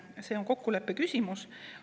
See on kokkuleppe küsimus.